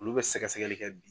Olu bɛ sɛgɛ sɛgɛli kɛ bi.